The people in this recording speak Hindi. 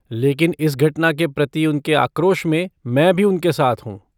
लेकिन, इस घटना के प्रति उनके आक्रोश में मैं भी उनके साथ हूँ।